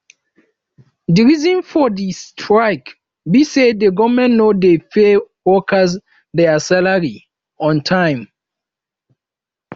di reason for di strike be say di government no dey pay workers dia salaries on time